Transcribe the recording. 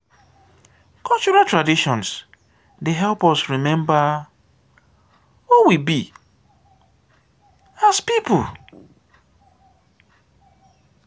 cultural traditions dey help us remember who we be as a pipo.